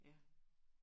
Ja